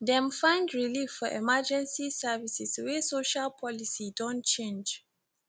dem find relief for emergency services wey social policy don change